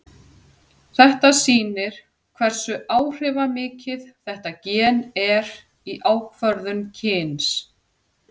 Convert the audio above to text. Þetta sýnir hversu áhrifamikið þetta gen er í ákvörðun kyns.